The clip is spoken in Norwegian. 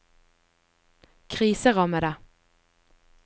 kriserammede